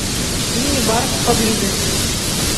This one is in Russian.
мини бар поблизости